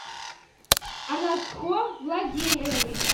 анашхор владимирович